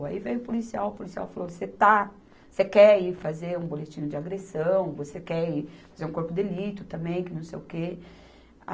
Aí veio o policial, o policial falou, você está, você quer ir fazer um boletim de agressão, você quer ir fazer um corpo de delito também, que não sei o quê.